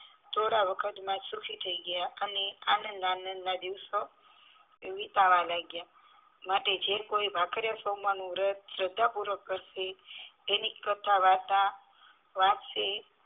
થોડા વખત માં સુખી થાય ગયા અને આનંદ આનંદ ના દિવસો વીતવા લાગ્યા માટે જે કોઈ ભાખરીયા સોમવાર નું વ્રત શ્રદ્ધા પૂર્વક કરશે ને કથા વાર્તા વાંચશે